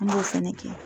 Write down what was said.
An b'o fɛnɛ kɛ